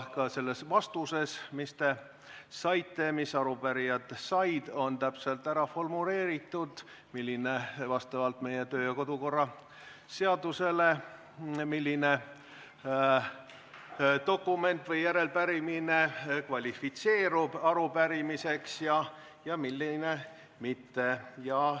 Selles vastuses, mis te saite – mis arupärijad said –, on täpselt formuleeritud, vastavalt meie kodu- ja töökorra seadusele, milline dokument või järelepärimine kvalifitseerub arupärimiseks ja milline mitte.